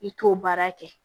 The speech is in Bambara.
I t'o baara kɛ